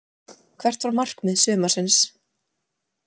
Hvert var markmið sumarsins?